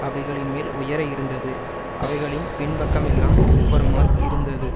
அவைகளின்மேல் உயர இருந்தது அவைகளின் பின்பக்கமெல்லாம் உட்புறமாய் இருந்தது